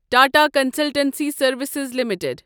Tata consultancy services limited